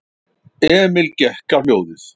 Emil gekk á hljóðið.